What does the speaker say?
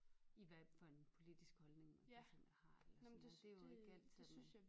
I hvad for en politisk holdning man for eksempel har det jo ikke altid at man